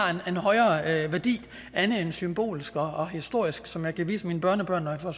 en højere værdi andet end en symbolsk og historisk som jeg kan vise mine børnebørn når jeg får